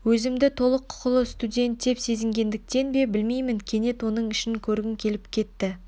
өзімді толық құқылы студент деп сезінгендіктен бе білмеймін кенет оның ішін көргім келіп кетті